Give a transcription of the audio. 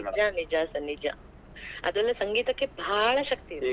ನಿಜಾ ನಿಜಾ sir ನಿಜ ಅದರಲ್ಲೇ ಸಂಗೀತಕ್ಕೆ ಬಾಳ್ ಶಕ್ತಿ ಇದೆ.